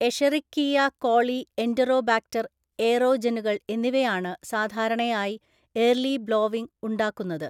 Escherichia coli Enterobacter എയറോജെനുകൾ എന്നിവയാണ് സാധാരണയായി ഏര്‍ലി ബ്ലോവിങ് ഉണ്ടാക്കുന്നത്.